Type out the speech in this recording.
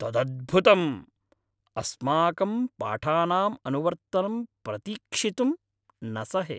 तदद्भुतम्! अस्माकं पाठानाम् अनुवर्तनं प्रतीक्षितुं न सहे।